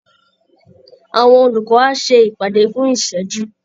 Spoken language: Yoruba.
Àwọn olùkọ́ á ṣe ìpàdé fún ìṣẹ́jú